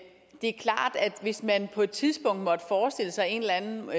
hvis man på et tidspunkt måtte forestille sig en eller anden